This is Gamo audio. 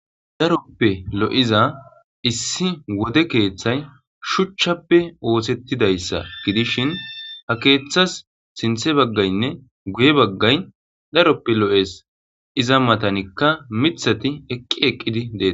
Daroppe lo7iza issi wode keeththay shuchchappe oohtettidayssa gidishin ha keeththas sinthe baggaynne guye baggay daroppe lo7es iza matanikka mithati eqqi eqqidi dee